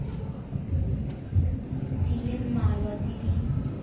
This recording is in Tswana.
di le mmalwa tse di